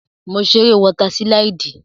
Mo ṣe eré wọ́tà sílídì